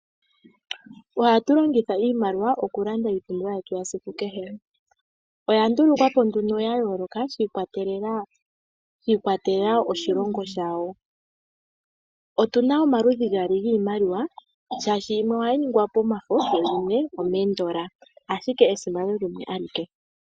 Ohatu longitha iimaliwa okulanda iipumbiwa yetu yesiku kehe. Iimaliwa oya ndulukwa po ya yoloka shi ikwatelela koshilongo shawo. Otu na omaludhi gaali giimaliwa, tu na yimwe ya longwa momafo nayimwe yalongwa moshingoli nomoshisiliveli, ashike esimano limwe ashike.